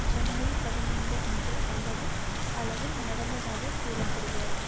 ஜனவரி பதினைந்து அன்று அல்லது அளவில் நடந்ததாகக் கூற படுகிறது